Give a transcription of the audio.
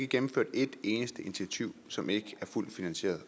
gennemført ét eneste initiativ som ikke er fuldt finansieret